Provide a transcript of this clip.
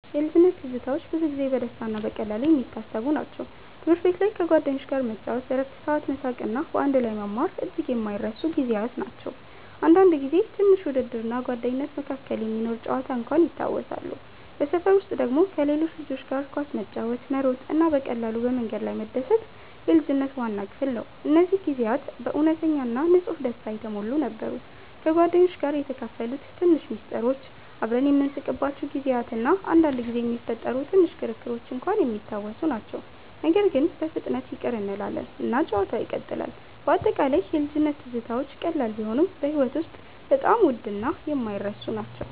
ልጅነት ትዝታዎች ብዙ ጊዜ በደስታ እና በቀላሉ የሚታሰቡ ናቸው። ትምህርት ቤት ላይ ከጓደኞች ጋር መጫወት፣ በእረፍት ሰዓት መሳቅ እና በአንድ ላይ መማር እጅግ የማይረሱ ጊዜያት ናቸው። አንዳንድ ጊዜ ትንሽ ውድድር እና ጓደኝነት መካከል የሚኖር ጨዋታ እንኳን ይታወሳሉ። በሰፈር ውስጥ ደግሞ ከሌሎች ልጆች ጋር ኳስ መጫወት፣ መሮጥ እና በቀላሉ በመንገድ ላይ መደሰት የልጅነት ዋና ክፍል ነው። እነዚህ ጊዜያት በእውነተኛ እና ንጹህ ደስታ የተሞሉ ነበሩ። ከጓደኞች ጋር የተካፈሉት ትንሽ ምስጢሮች፣ አብረን የምንስቅባቸው ጊዜያት እና አንዳንድ ጊዜ የሚፈጠሩ ትንሽ ክርክሮች እንኳን የሚታወሱ ናቸው። ነገር ግን በፍጥነት ይቅር እንላለን እና ጨዋታው ይቀጥላል። በአጠቃላይ የልጅነት ትዝታዎች ቀላል ቢሆኑም በሕይወት ውስጥ በጣም ውድ እና የማይረሱ ናቸው።